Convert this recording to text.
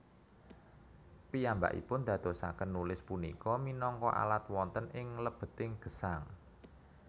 Piyambakipun ndadosaken nulis punika minangka alat wonten ing lebeting gesang